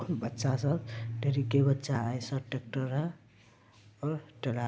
बच्चा सब ढेरिके बच्चा है सब। टेक्टर है और टरा --